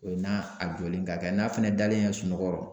O n'a jɔlen ka kɛ n'a fɛnɛ dalen y'a ye sunɔgɔrɔ